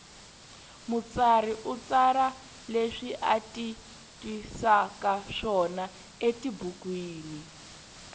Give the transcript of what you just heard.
mutsari u tsara leswi ati twisakaswona etibukwini